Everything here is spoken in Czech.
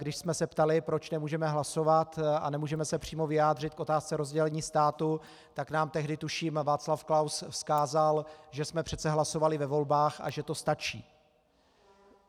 Když jsme se ptali, proč nemůžeme hlasovat a nemůžeme se přímo vyjádřit k otázce rozdělení státu, tak nám tehdy, tuším, Václav Klaus vzkázal, že jsme přece hlasovali ve volbách a že to stačí.